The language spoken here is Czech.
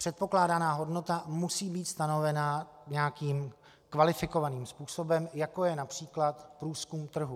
Předpokládaná hodnota musí být stanovena nějakým kvalifikovaným způsobem, jako je například průzkum trhu.